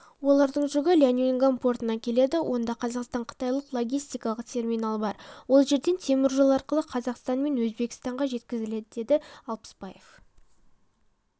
олардың жүгі ляньюнган портына келеді онда қазақстан-қытайлық логистикалық терминал бар ол жерден темір жол арқылы қазақстанмен өзбекстанға жеткізіледі деді алпысбаев